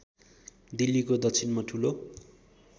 दिल्लीको दक्षिणमा ठूलो